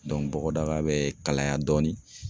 bɔgɔdaga bɛ kalaya dɔɔni